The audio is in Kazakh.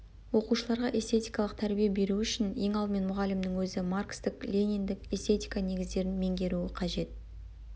оқушыларға эстетикалық тәрбие беру үшін ең алдымен мұғалімнің өзі маркстік лениндік эстетика негіздерін меңгеруі қажет